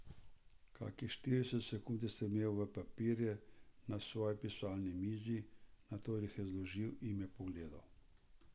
Kakšnih trideset sekund je strmel v papirje na svoji pisalni mizi, nato jih je zložil in me pogledal.